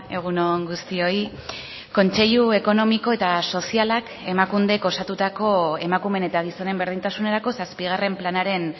egun on guztioi kontseilu ekonomiko eta sozialak emakundek osatutako emakumeen eta gizonen berdintasunerako zazpigarren planaren